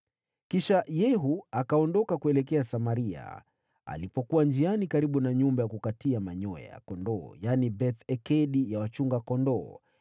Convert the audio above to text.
Kisha Yehu akaondoka kuelekea Samaria. Alipokuwa njiani karibu na nyumba ya kukatia manyoya ya kondoo, yaani, Beth-Ekedi ya wachunga kondoo,